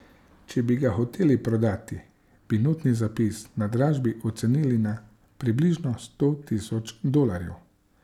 Če bi ga hoteli prodati, bi notni zapis na dražbi ocenili na približno sto tisoč dolarjev.